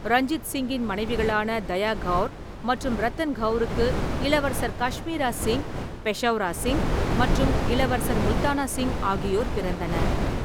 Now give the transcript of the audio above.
ரஞ்சித் சிங்கின் மனைவிகளான தயா கவுர் மற்றும் ரத்தன் கவுருக்கு இளவரசர் காஷ்மீரா சிங், பெஷௌரா சிங் மற்றும் இளவரசர் முல்தானா சிங் ஆகியோர் பிறந்தனர்.